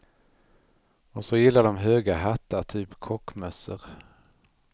Och så gillar de höga hattar, typ kockmössor.